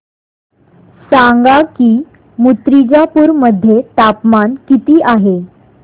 सांगा की मुर्तिजापूर मध्ये तापमान किती आहे